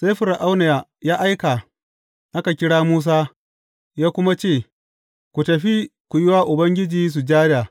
Sai Fir’auna ya aika aka kira Musa, ya kuma ce, Ku tafi, ku yi wa Ubangiji sujada.